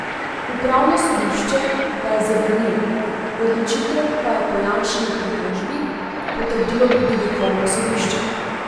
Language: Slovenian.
Upravno sodišče ga je zavrnilo, odločitev pa je po Janševi pritožbi potrdilo tudi vrhovno sodišče.